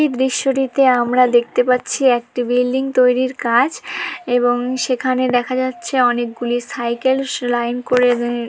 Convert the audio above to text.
টিতে আমরা দেখতে পাচ্ছি একটি বিল্ডিং তৈরির কাজ এবং সেখানে দেখা যাচ্ছে অনেকগুলি সাইকেল সলাইন করে--